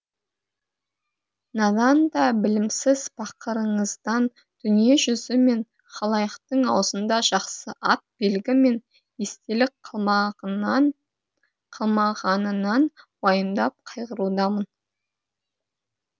надан да білімсіз пақырыңыздан дүниежүзі мен халайықтың аузында жақсы ат белгі мен естелік қалмағанынан уайымдап қайғырудамын